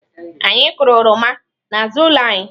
Anyị kụrụ oroma n'azụ ụlọ anyị.